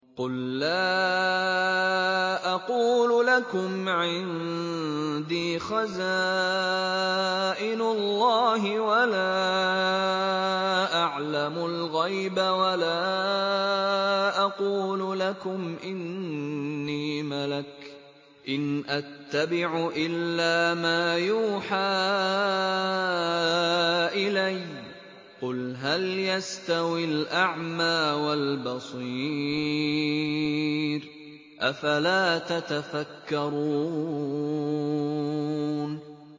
قُل لَّا أَقُولُ لَكُمْ عِندِي خَزَائِنُ اللَّهِ وَلَا أَعْلَمُ الْغَيْبَ وَلَا أَقُولُ لَكُمْ إِنِّي مَلَكٌ ۖ إِنْ أَتَّبِعُ إِلَّا مَا يُوحَىٰ إِلَيَّ ۚ قُلْ هَلْ يَسْتَوِي الْأَعْمَىٰ وَالْبَصِيرُ ۚ أَفَلَا تَتَفَكَّرُونَ